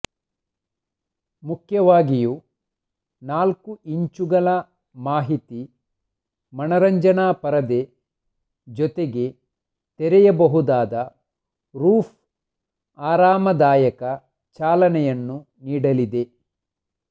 ಮುಖ್ಯವಾಗಿಯೂ ನಾಲ್ಕು ಇಂಚುಗಳ ಮಾಹಿತಿ ಮನರಂಜನಾ ಪರದೆ ಜೊತೆಗೆ ತೆರೆಯಬಹುದಾದ ರೂಫ್ ಆರಾಮದಾಯಕ ಚಾಲನೆಯನ್ನು ನೀಡಲಿದೆ